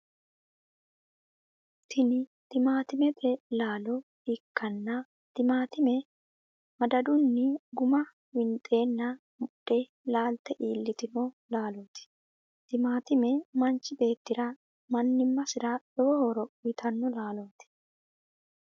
tini timaatimete laalo ikkanna timaatime madadunni guma winxeenna mudhe laalte iilitanno laaloti. timaatime manchi beetira mannimasira lowo horo uyitanno laaloti.